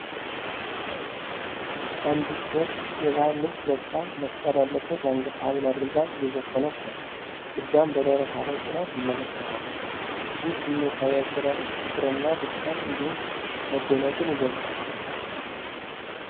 አንዲት ሴት የባህል ልብስ ለብሳ፣ መስቀል ያለበት የአንገት ሐብል አድርጋ እየዘፈነች ነው። እጇን በደረቷ ላይ ጭና ትመለከታለች። ይህ ስሜታዊ አገላለጽ ፍቅርንና ደስታን እንዲሁም መደነቅን ይገልጻል።